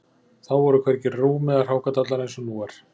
Þá voru hvergi rúm eða hrákadallar eins og nú er